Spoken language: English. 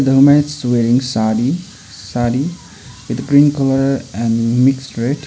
the women is wearing saree saree with green colour and mix red.